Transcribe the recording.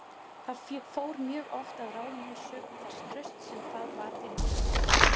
Það fór mjög oft að ráðum hans sökum þess trausts sem það bar til hans.